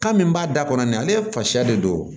Kan min b'a da kɔnɔ nin ale fa de don